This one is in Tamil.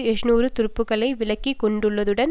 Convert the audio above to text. எழுநூறு துருப்புக்களை விலக்கி கொண்டுள்ளதுடன்